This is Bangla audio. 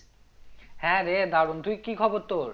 হ্যাঁ রে দারুন তুই কি খবর তোর?